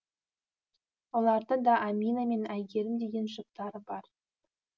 олардың да амина мен айгерім деген жұптары бар